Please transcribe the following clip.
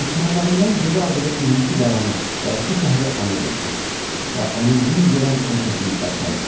Düşmənlərindən geri aldığı 22 qalanı və iki şəhəri ona verdi və onun zülm görən ölkəsini bərpa etdi.